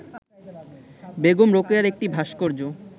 বেগম রোকেয়ার একটি ভাস্কর্য